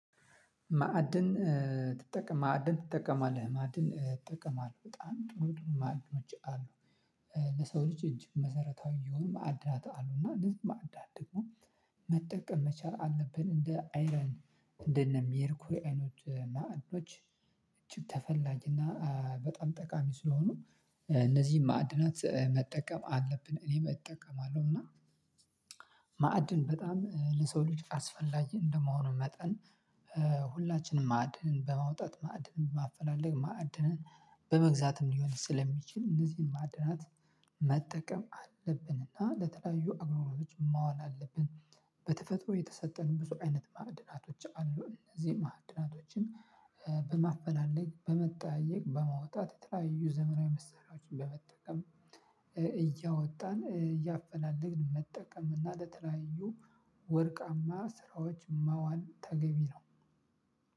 ማዕድን ትጠቀማለህ ማዕድን እጠቀማለሁ በጣም ጥሩ ጥሩ ማዕድኖች አሉ። ለሰው ልጅ እጅግ መሰረታዊ የሆኑ ማዕድናት አሉ። እና እንነዚህ ማዕዳድ ደግሞ መጠቀም መቻል አለብን እንደ አይረን እንደነ ሜርኩሪ አይነት ማዕድኖች። እጅግ ተፈላጊና በጣም ጠቃሚ ስለሆኑ እነዚህን ማዕድናት መጠቀም አለብን እኔም እጠቀማለሁ እና። ማዕድን በጣም ለሰው ልጅ አስፈላጊ እንደመሆኑ መጠን። ሁላችንም ማዕድንን በማውጣት ማዕድንን ማፈላለግ ማዕድንን በመግዛትም ሊሆን ስለሚችል እነዚህን ማዕድናት መጠቀም አለብን። እና ለተለያዩ አዋዋሎች ማዋል አለብን። በተፈጥሮ የተሰጠን ብዙ አይነት ማዕድናቶች አሉ። እነዚህ ማዕድናቶችን በማፈላለግ በመጠያየቅ በማውጣት የተለያዩ ዘመናዊ መሳሪያዎችን በመጠቀም። እያወጣን እያፈላለግን መጠቀም እና ለተለያዩ ወርቃማ ስራዎች ማዋል ተገቢ ነው።